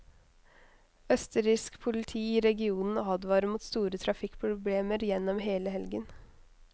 Østerriksk politi i regionen advarer mot store trafikkproblemer gjennom hele helgen.